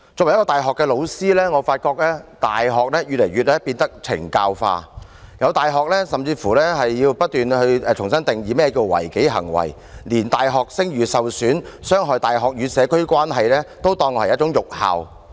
我作為大學教師，發現大學變得越來越"懲教化"，有大學甚至要重新定義何謂違紀行為，更連使大學聲譽受損及傷害大學與社區關係都被列作辱校行為。